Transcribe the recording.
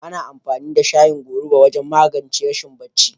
Ana amfani da shayin goruba wajen magance rashin barci.